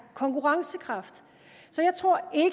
konkurrencekraft så jeg tror